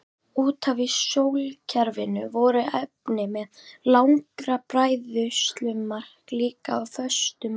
Utar í sólkerfinu voru efni með lægra bræðslumark líka á föstu formi.